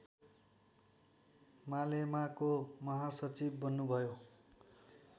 मालेमाको महासचिव बन्नुभयो